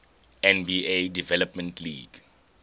nba development league